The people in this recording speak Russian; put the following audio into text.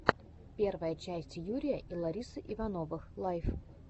первая часть юрия и ларисы ивановых лайв